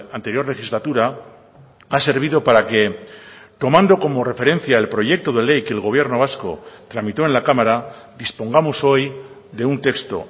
anterior legislatura ha servido para que tomando como referencia el proyecto de ley que el gobierno vasco tramitó en la cámara dispongamos hoy de un texto